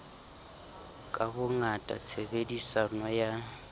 ka bongata tshebe diso ya